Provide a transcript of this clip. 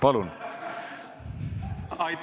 Palun!